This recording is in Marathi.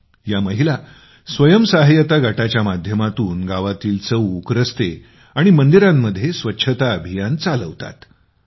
तेव्हा या महिला स्वयंसहाय्यता गटाच्या माध्यमातून गावातील चौक रस्ते आणि मंदिरांमध्ये स्वच्छतेसाठी अभियान चालवत असतात